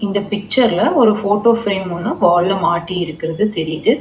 இந்த பிச்சர்ல ஒரு ஃபோட்டோ ஃப்ரேம் ஒன்னு வால்ல மாட்டி இருக்கறது தெரியிது.